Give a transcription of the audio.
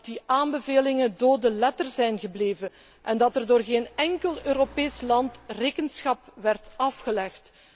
Dat die aanbevelingen dode letter zijn gebleven en dat er door geen enkel Europees land rekenschap werd afgelegd.